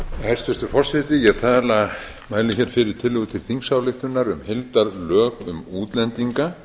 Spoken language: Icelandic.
hæstvirtur forseti ég mæli hér fyrir tillögu til þingsályktunar um heildarlög um útlendinga